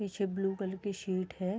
पीछे blue colour की sheet है।